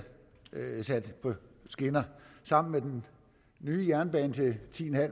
på skinner sammen med den nye jernbane til ti